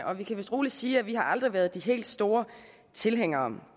og vi kan vist roligt sige at vi aldrig har været de helt store tilhængere